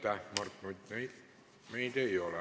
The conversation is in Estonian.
Aitäh, Mart Nutt!